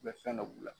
U bɛ fɛn dɔ b'u la